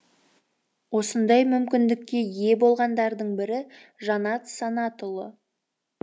осындай мүмкіндікке ие болғандардың бірі жанат санатұлы